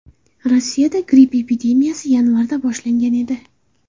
Rossiyada gripp epidemiyasi yanvarda boshlangan edi.